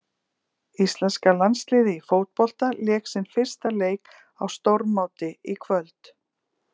Íslenska landsliðið í fótbolta lék sinn fyrsta leik á stórmóti í kvöld.